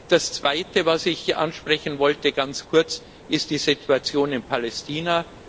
Das zweite, was ich ansprechen wollte ganz kurz ist die Situation in Palästina.